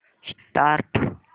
start